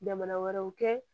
Jamana wɛrɛw kɛ